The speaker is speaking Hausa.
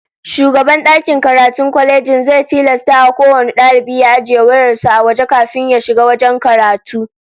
Shugaban dakin karatun kwalejin zai tilasta kowane dalibi ya ajiye wayar sa a waje kafin ya shiga wajen karatu